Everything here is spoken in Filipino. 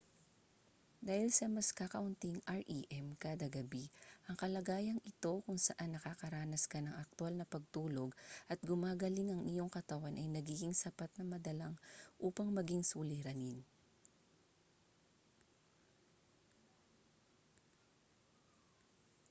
dahil sa mas kakaunting rem kada gabi ang kalagayang ito kung saan nakakaranas ka ng aktwal na pagtulog at gumagaling ang iyong katawan ay nagiging sapat na madalang upang maging suliranin